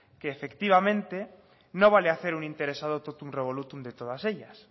que efectivamente no vale hacer un interesado totum revolutum de todas ellas